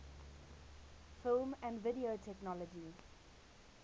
film and video technology